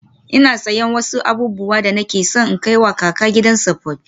Ina siyan wasu abubuwan da nake so in kai wa kaka a gidan tsofaffi.